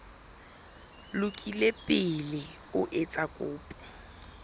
lokile pele o etsa kopo